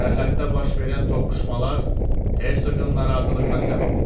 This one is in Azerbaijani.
Sərhəddə baş verən toqquşmalar hersoqun narazılığına səbəb olub.